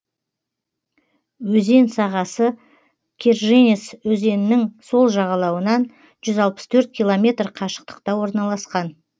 өзен сағасы керженец өзенінің сол жағалауынан жүз алпыс төрт километр қашықтықта орналасқан